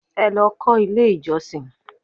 Ẹ lọ kọ́ ilé ìjọsìn!